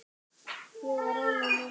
Ég var ánægð með það.